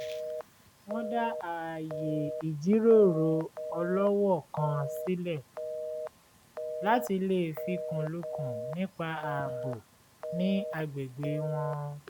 wọ́n dá ààyè ìjíròrò ọlọ́wọ̀ọ́ kan sílẹ̀ láti lè fikùnlukùn nípa ààbò ní agbègbè wọn